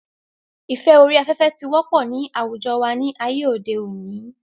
ìfẹ́ orí afẹ́fẹ́ ti wọ́pọ̀ ní àwùjọ wa ní ayé òde òni